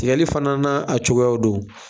Tigɛli fana a cogoyaw don.